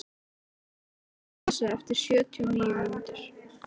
Sól, slökktu á þessu eftir sjötíu og níu mínútur.